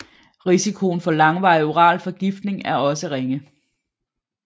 Risikoen for langvarig oral forgiftning er også ringe